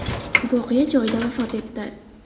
voqea joyida vafot etdi.